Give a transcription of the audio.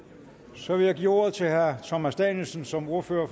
så vil jeg give ordet til herre thomas danielsen som ordfører